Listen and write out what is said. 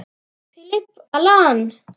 Philip, Allan.